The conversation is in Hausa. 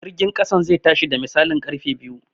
Jirgin ƙasan zai tashi da misalin ƙarfe biyu